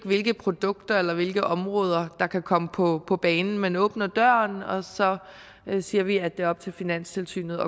hvilke produkter eller hvilke områder der kan komme på på banen man åbner døren og så siger vi at det er op til finanstilsynet